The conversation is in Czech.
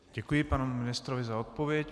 Děkuji panu ministrovi za odpověď.